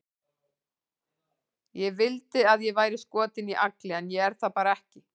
Ég vildi að ég væri skotin í Agli, en ég er það bara ekki.